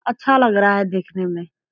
अच्छा लग रहा है देखने में।